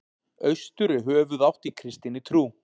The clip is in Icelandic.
Austur er höfuðátt í kristinni trú.